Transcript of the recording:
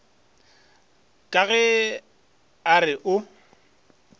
ka ge a re o